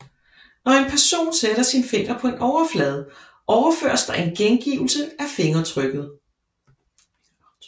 Når en person sætter sin finger på en overflade overføres der en gengivelse af fingeraftrykket